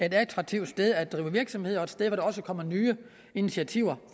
et attraktivt sted at drive virksomhed og et sted også kommer nye initiativer